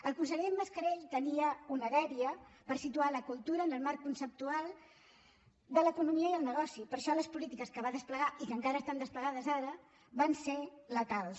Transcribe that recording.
el conseller mascarell tenia una dèria per situar la cultura en el marc conceptual de l’economia i el negoci per això les polítiques que va desplegar i que encara estan desplegades ara van ser letals